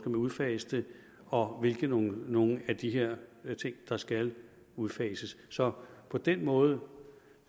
udfases og hvilke nogle nogle af de her ting der skal udfases så på den måde